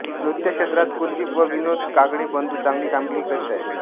नृत्य क्षेत्रात कुलदीप व विनोद कागडे बंधू चांगली कामगिरी करीत आहेत